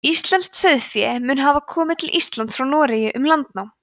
íslenskt sauðfé mun hafa komið til íslands frá noregi um landnám